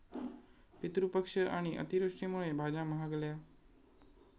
पितृपक्ष आणि अतिवृष्टीमुळे भाज्या महागल्या